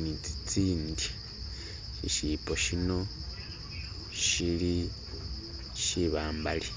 ni zizindi Ishibbo shino shili shibambali.